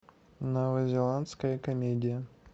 новозеландская комедия